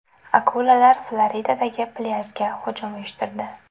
Akulalar Floridadagi plyajga hujum uyushtirdi .